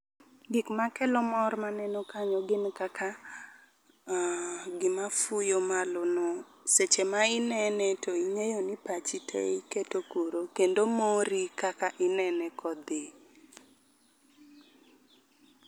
Gik makelo mor maneno kanyo gin kaka gima fuyo malo no, seche ma inene to ing'eyo ni pachi te iketo kuro. Kendo mori kaka inene kodhi.